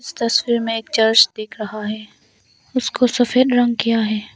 इस तस्वीर में एक चर्च दिख रहा है उसको सफेद रंग किया है।